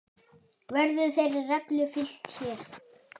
Verður þeirri reglu fylgt hér.